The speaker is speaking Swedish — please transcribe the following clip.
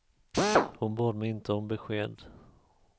Hon bad mig inte om besked.